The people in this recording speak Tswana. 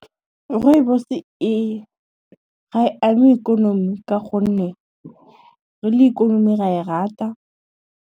Rooibos ga e ama ikonomi ka gonne, re le ikonomi ra e rata.